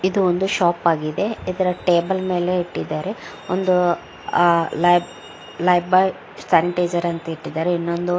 ಇದು ಒಂದು ಶಾಪ್ ಆಗಿದೆ ಇದರ ಟೇಬಲ್ ಮೇಲೆ ಇಟ್ಟಿದ್ದಾರೆ ಒಂದು ಆಹ್ ಲೈ ಲೈಬಾಯ್ ಸ್ಯಾನಿಟೈಜರ್ ಅಂತ ಇಟ್ಟಿದ್ದಾರೆ. ಇನ್ನೊಂದು --